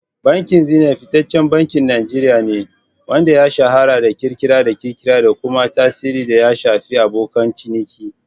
Bankin Zenith fitaccen bankin Najeriya ne, wanda ya shahara da ƙirƙire-ƙirƙire da kuma tsarin da ya shafi abokan ciniki.